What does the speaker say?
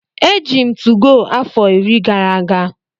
Eji m 2go afọ iri gara aga.